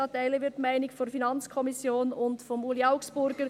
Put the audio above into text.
Da teilen wir die Meinung der FiKo und von Ueli Augstburger.